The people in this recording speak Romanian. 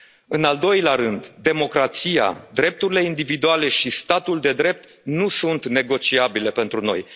naționale. În al doilea rând, democrația, drepturile individuale și statul de drept nu sunt negociabile pentru